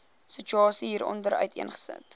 situasie hieronder uiteengesit